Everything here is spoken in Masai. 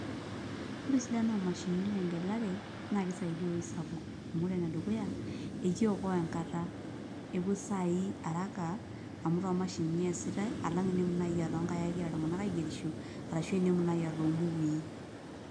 Ore esidano oomashinini tengelare naa kisaidia eweuji sapuk amu or enedukuya ekiokoa enkata epuo isaai araka amu toomashinini eesitai alang' tenemutu naai aa toonkaik egira illtung'anak aigerisho ashu tenemutu naai aa toombukui.